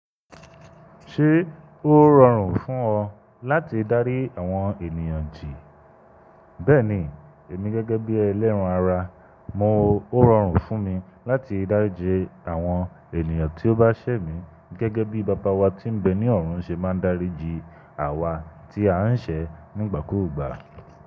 Ṣé ó rọrùn fún ọ láti dárí àwọn ènìyàn jì? Bẹ́ẹ̀ni, èmi gẹ́gẹ́ bí ẹlẹ́ran ara, mo ó rọrùn fún mi láti dáríji àwọn ènìyàn tí ó bá ṣẹ̀ mí, gẹ́gẹ́ bí Baba wa tí ń bẹ ní ọ̀run ṣe máa ń dáríji àwa tí a ń ṣẹ̀ nígbàkúùgbà.